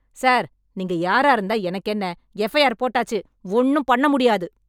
Sir, நீங்க யாரா இருந்தா எனக்கென்ன? எஃப் ஐ ஆர் போட்டாச்சு... ஒண்ணும் பண்ணமுடியாது.